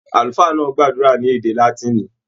Àlùfáà náà gbàdúrà ní èdè Látìnì.